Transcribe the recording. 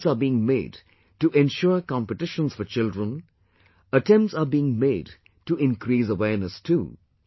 Efforts are being made to ensure competitions for children, attempts are being made to increase awareness too